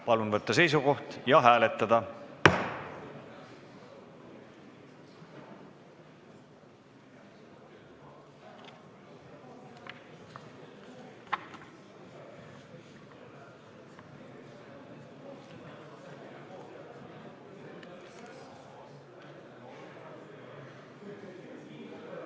Palun võtta seisukoht ja hääletada!